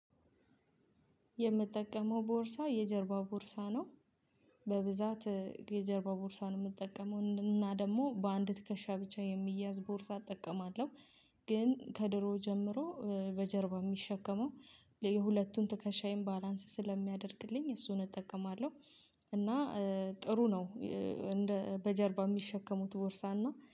የምጠቀመው ቦርሳ የጀርባ ቦርሳ ነው። በብዛት የጀርባ ቦርሳ ነው የምጠቀመው እና ደግሞ በአንድ ትከሻ ብቻ የሚያዝ ቦርሳ እጠቀማለሁ። ግን ከድሮ ጀምሮ በጀርባ የሚሸከመው የሁለቱን ትከሻዬን ባላንስ ስለሚያደርግልኝ እሱን እጠቀማለሁ። እና ጥሩ ነው። በጀርባ የሚሸከሙት ቦርሳ እና